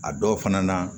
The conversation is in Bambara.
A dɔw fana na